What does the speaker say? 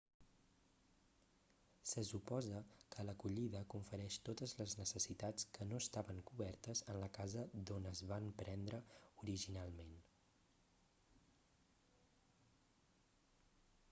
se suposa que l'acollida confereix totes les necessitats que no estaven cobertes en la casa d'on es van prendre originalment